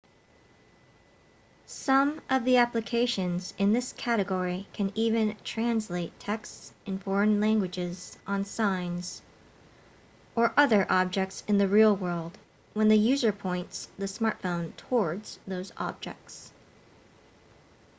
some of the applications in this category can even translate texts in foreign languages on signs or other objects in the real world when the user points the smartphone towards those objects